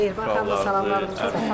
Mehriban xanıma da salamlarımızı çatdırırıq.